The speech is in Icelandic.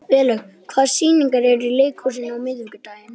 Tveir stúdentar gáfu sig fram og fóru út með hermönnunum.